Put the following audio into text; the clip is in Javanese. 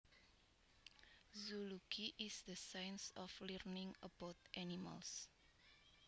Zoology is the science of learning about animals